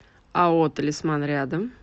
ао талисман рядом